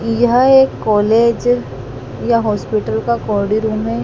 यह एक कॉलेज या हॉस्पिटल का कोड़ी रूम है।